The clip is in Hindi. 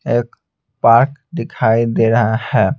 एक पार्क दिखाई दे रहा है।